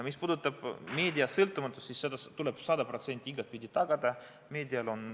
Mis puudutab meedia sõltumatust, siis see tuleb sada protsenti tagada.